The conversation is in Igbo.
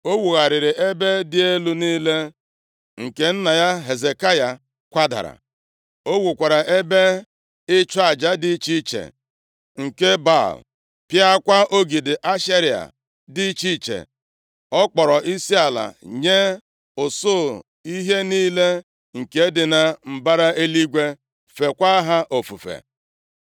O wugharịrị ebe dị elu niile nke nna ya Hezekaya kwadara, o wukwara ebe ịchụ aja dị iche iche nke Baal, pịakwa ogidi Ashera dị iche iche. Ọ kpọrọ isiala nye usuu ihe niile nke dị na mbara eluigwe feekwa ha ofufe.